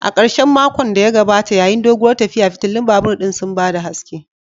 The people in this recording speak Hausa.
A karshen makon da ya gabata, yayin doguwar tafiya, fitilun babur ɗin sun ba da haske